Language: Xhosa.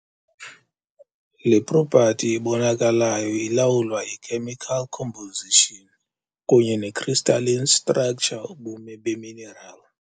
Le propati ebonakalayo ilawulwa yi-chemical composition kunye ne-crystalline structure ubume beminerali.